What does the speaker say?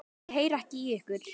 Ég heyri ekki í ykkur.